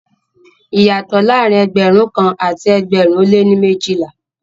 Iyàtọ̀ laárín ẹgbẹ̀rún kàn àti ẹgbẹ̀rún o lẹ́ méjìlà.